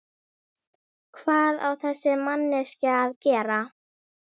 Hvað á þessi manneskja að gera?